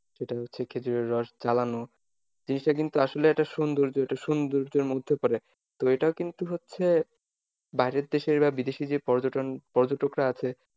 যেটা হচ্ছে খেঁজুরের রস জ্বালানো জিনিসটা কিন্তু আসলে একটা সৌন্দর্য একটা সৌন্দর্যের মধ্যে পরে, তো এটা কিন্তু হচ্ছে বাইরের দেশে বা বিদেশী যে পর্যটন পর্যটকরা আছে,